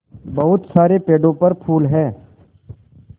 बहुत सारे पेड़ों पर फूल है